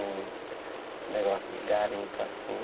Em negócio de garimpo, assim.